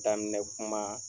Daminɛ kuma